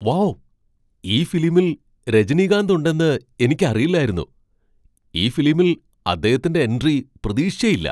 Wow ! ഈ ഫിലിമിൽ രജനികാന്ത് ഉണ്ടെന്ന് എനിക്കറിയില്ലായിരുന്നു. ഈ ഫിലിമിൽ അദ്ദേഹത്തിന്റെ എൻട്രി പ്രതീക്ഷിച്ചേയ്യില്ല.